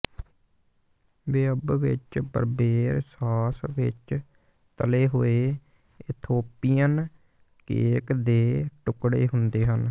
ਵਿਅੰਬ ਵਿੱਚ berbere sauce ਵਿੱਚ ਤਲੇ ਹੋਏ ਇਥੋਪੀਅਨ ਕੇਕ ਦੇ ਟੁਕੜੇ ਹੁੰਦੇ ਹਨ